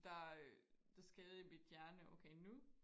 der der sker i mit hjerne okay nu